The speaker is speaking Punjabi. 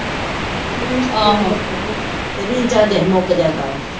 ਆਹੋ ਰਿਚਾਰਜ ਅਹੇ ਮੁੱਕ ਜਾਂਦਾ ਵਾ।